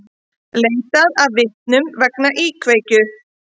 Leitað að vitnum vegna íkveikju